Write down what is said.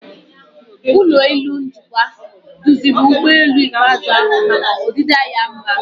Ụlọ elu njikwa duziri ụgbọelu ikpeazụ ahu maka ọdịda dị mma.